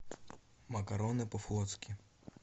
макароны по флотски